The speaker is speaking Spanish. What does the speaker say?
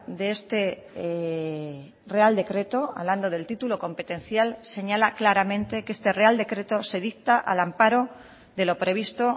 de este real decreto hablando del título competencial señala claramente que este real decreto se dicta al amparo de lo previsto